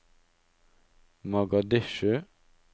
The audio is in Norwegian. Mogadishu